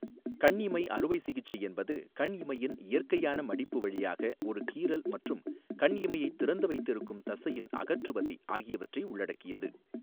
கண் இமை அறுவை சிகிச்சை என்பது கண் இமையின் இயற்கையான மடிப்பு வழியாக ஒரு கீறல் மற்றும் கண் இமையைத் திறந்து வைத்திருக்கும் தசையின் அகற்றுவதை ஆகியவற்றை உள்ளடக்கியது.